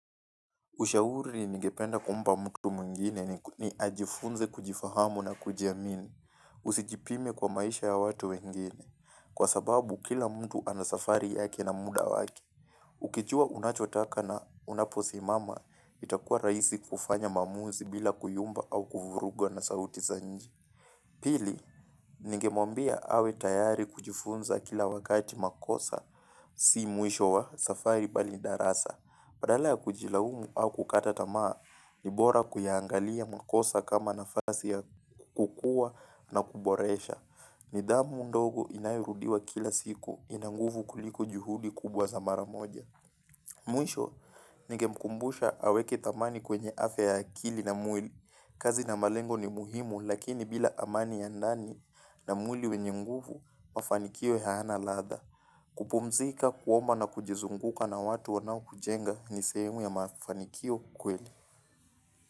Ushauri ningependa kumpa mtu mwengine ni ajifunze kujifahamu na kujiamini, usijipime kwa maisha ya watu wengine, kwa sababu kila mtu ana safari yake na muda wake. Ukijua unachotaka na unaposimama, itakua raisi kufanya maamuzi bila kuyumba au kuvurugwa na sauti zanji. Pili, ningemwambia awe tayari kujifunza kila wakati makosa, si mwisho wa safari bali darasa. Badala ya kujilaumu au kukata tamaa, ni bora kuyaangalia makosa kama nafasi ya kukua na kuboresha. Nidhamu ndogo inayorudiwa kila siku, ina nguvu kuliko juhudi kubwa za mara moja. Mwisho, ningemkumbusha aweke thamani kwenye afya ya akili na mwili. Kazi na malengo ni muhimu lakini bila amani ya ndani na mwili wenye nguvu, mafanikio hayana ladha. Kupumzika, kuomba na kujizunguka na watu wanaokujenga ni sehemu ya mafanikio kweli.